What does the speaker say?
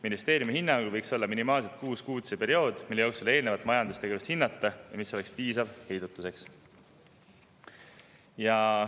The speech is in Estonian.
Ministeeriumi hinnangul võiks olla minimaalselt kuus kuud see periood, mille eelnevat majandustegevust hinnata ja mis oleks heidutuseks piisav.